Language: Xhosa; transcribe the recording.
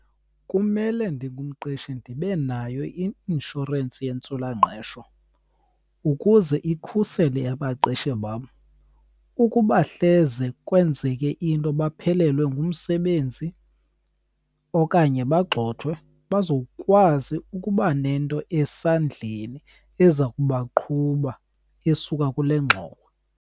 Kumele ndingumqeshi ndibe nayo i-inshorensi yentswelangqesho ukuze ikhusele abaqeshi bam. Ukuba hleze kwenzeke into baphelelwe ngumsebenzi okanye bagxothwe bazokwazi ukuba nento esandleni eza kubaqhuba esuka kule ngxowa.